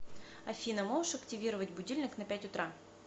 афина можешь активировать будильник на пять утра